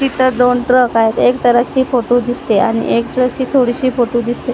तिथं दोन ट्रक आहेत एक ट्रकची फोटो दिसते आणि एक ट्रकची थोडीशी फोटो दिसते.